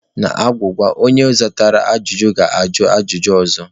N'agwụgwa, onye zatara agwụgwa ga-ajụ ajụjụ ọzọ.